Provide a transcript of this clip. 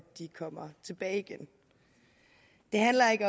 de kommer tilbage igen det handler ikke